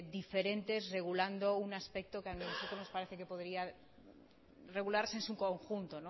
diferentes regulando un aspecto que a nosotros nos parece que podría regularse en su conjunto